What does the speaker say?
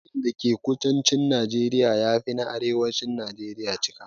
Dajin da ke kudancin Najeriya ya fi na arewacin najeriya cika.